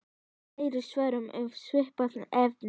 Fleiri svör um svipað efni